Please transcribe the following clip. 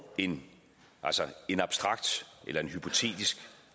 en en abstrakt eller hypotetisk